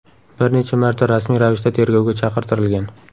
bir necha marta rasmiy ravishda tergovga chaqirtirilgan.